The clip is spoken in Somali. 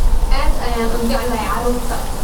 Aad ayaan u jeclahay carruurta